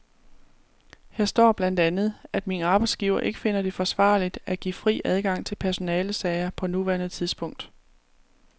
Her står blandt andet, at min arbejdsgiver ikke finder det forsvarligt at give fri adgang til personalesager på nuværende tidspunkt.